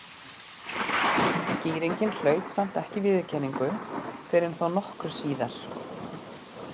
Skýringin hlaut samt ekki viðurkenningu fyrr en þó nokkru síðar.